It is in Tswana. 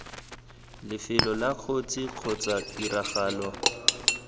lefelo la kotsi kgotsa tiragalo